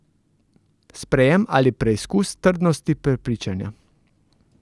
Sprejem ali preizkus trdnosti prepričanja?